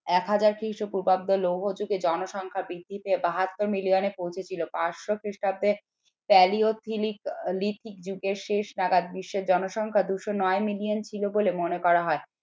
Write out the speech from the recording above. এক হাজার খ্রিস্টপূর্বাব্দ লৌহ যুগে জনসংখ্যা বৃদ্ধি তে বাহাত্তর মিলিয়ানে পৌঁছেছিল পাঁচশ খ্রিস্টাব্দে প্যালিওথিলিক লিথিক যুগের শেষ নাগাদ বিশ্বের জনসংখ্যা দুশো নয় মিলিয়ন ছিল বলে মনে করা হয়।